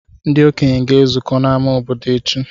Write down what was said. Ndị okenye ga-ezukọ n’ámá obodo echi.